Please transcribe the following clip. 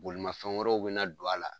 Bolimafɛn wɛrɛw bɛ na don a la.